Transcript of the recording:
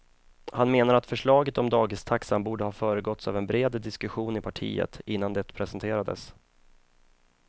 Han menar att förslaget om dagistaxan borde ha föregåtts av en bred diskussion i partiet innan det presenterades.